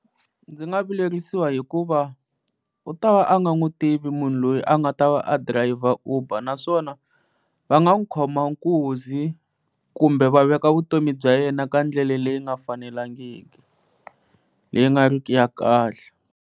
Ndzi nga vilerisiwa hikuva u ta va a nga n'wi tivi munhu loyi a nga ta va a driver Uber naswona va nga n'wi khoma nkunzi kumbe va veka vutomi bya yena eka ndlela leyi nga fanelangiki leyi nga riki ya kahle.